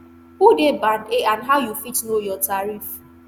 who dey band a and how you fit know your tariff